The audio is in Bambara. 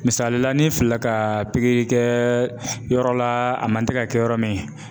Misalila n'i filila ka kɛ yɔrɔ la a man tɛ ka kɛ yɔrɔ min.